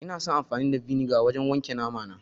Ina son amfani da vinegar wajen wanke namana